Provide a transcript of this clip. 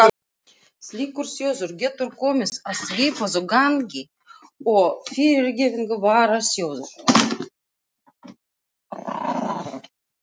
Slíkur sjóður getur komið að svipuðu gagni og fyrrgreindur varasjóður.